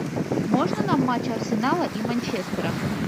можно нам матч арсенала и манчестера